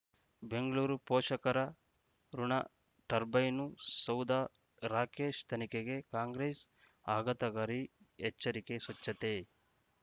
ಬೆಂಗಳೂರು ಪೋಷಕರಋಣ ಟರ್ಬೈನು ಸೌಧ ರಾಕೇಶ್ ತನಿಖೆಗೆ ಕಾಂಗ್ರೆಸ್ ಆಘಾತಗಾರಿ ಎಚ್ಚರಿಕೆ ಸ್ವಚ್ಛತೆ